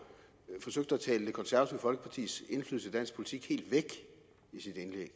forsøgte at tale det konservative folkepartis indflydelse i dansk politik helt væk i sit indlæg